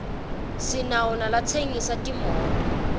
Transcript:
sinawo nalatsensisa timoto